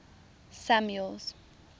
samuel's